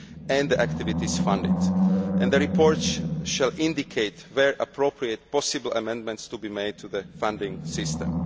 and the activities funded. The report shall indicate, where appropriate, possible amendments to be made to the funding system.